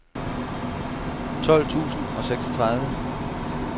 tolv tusind og seksogtredive